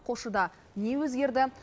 қосшыда не өзгерді